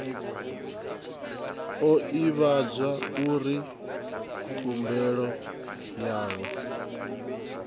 o ivhadzwa uri khumbelo yawe